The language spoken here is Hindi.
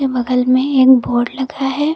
बगल में एक बोर्ड लगा है।